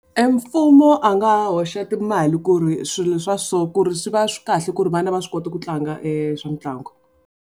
E mfumo a nga hoxa timali ku ri swilo swa so ku ri swi va swi kahle ku ri vana va swi kota ku tlanga e swa mitlangu.